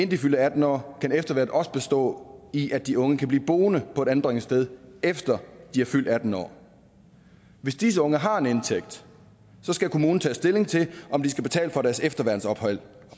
de fyldte atten år kan efterværnet også bestå i at de unge kan blive boende på et anbringelsessted efter de er fyldt atten år hvis disse unge har en indtægt skal kommunen tage stilling til om de skal betale for deres efterværnsophold